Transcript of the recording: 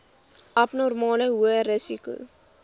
abnormale hoë risiko